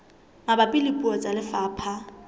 mabapi le puo tsa lefapha